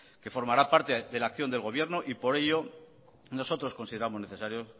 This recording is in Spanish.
que formará parte de la acción del gobierno y por ello nosotros consideramos necesario